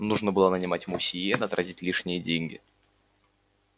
нужно было нанимать мусье да тратить лишние деньги